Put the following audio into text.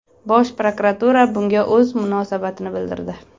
Bosh prokuratura bunga o‘z munosabatini bildirdi .